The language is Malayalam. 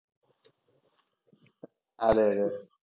അതേ, അതേ.